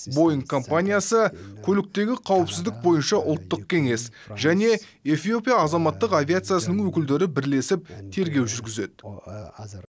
боинг компаниясы көліктегі қауіпсіздік бойынша ұлттық кеңес және эфиопия азаматтық авиациясының өкілдері бірлесіп тергеу жүргізеді